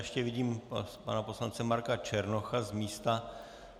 Ještě vidím pana poslance Marka Černocha z místa.